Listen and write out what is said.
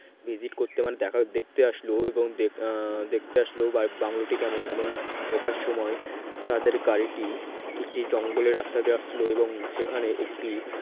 visit করতে মানে দেখতে আসলো এবং দেখতে আসলো বাংলোটি কেমন এবং ঢোকার সময় তাদের গাড়িটি একটি জঙ্গলের রাস্তা দিয়ে আসছিল এবং সেখানে একটি